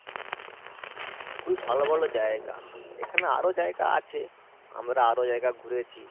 খুবই ভালো ভালো জায়গা, এখানে আরো জায়গা আছে আমরা আরো জায়গা ঘুরেছি।